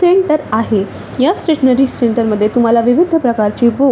centre आहे ह्या stationery centre मध्ये तुम्हाला विविध प्रकारची बुक --